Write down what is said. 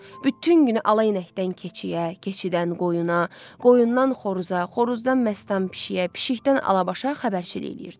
Bütün günü alayı inəkdən keçiyə, keçidən qoyuna, qoyundan xoruza, xoruzdan məstan pişiyə, pişikdən alabaşa xəbərçilik eləyirdi.